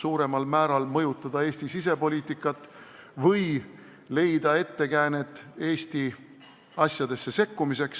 suuremal määral mõjutada Eesti sisepoliitikat või leida ettekäänet Eesti asjadesse sekkumiseks.